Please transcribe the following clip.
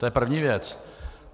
To je první věc.